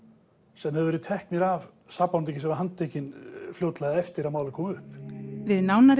sem höfðu verið teknir af sakborningi sem var handtekinn fljótlega eftir að málið kom upp við nánar